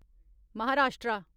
Maharashtra